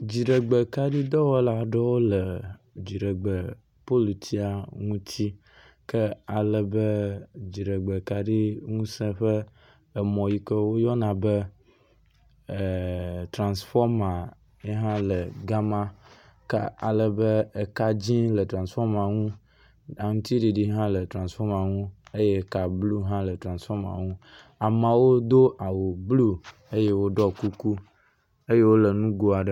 Dziɖegbekaɖidɔwɔla aɖewo le dziɖegbe politsia ŋutsi ke ale be dziɖegbe kaɖi ŋuse ƒe emƒ yi ke woyɔna be e… transfɔma yi hã le ga ma ke ale be eka dzi le transfɔma ŋu. aŋŋtsiɖiɖi hã le transfɔma ŋu. ameawo do awu blu eye woɖɔ kuku eye wo le ŋgo aɖe me.